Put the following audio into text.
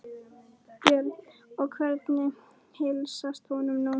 Björn: Og hvernig heilsast honum núna?